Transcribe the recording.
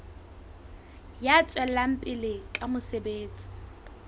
ya tswelang pele ka mosebetsi